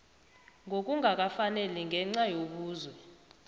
ngokungakafaneli ngenca yobuzwe